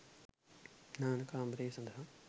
නාන කාමර සඳහා